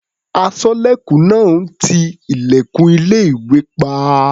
Aṣọ́lẹ̀kùn náà ń ti ilẹ̀kùn ilé-ìwé pa.